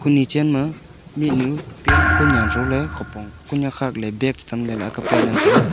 nichan ma mihnu pant kunan shole khupong kunyak khak ley bag cha tham ley pai ngan taiga.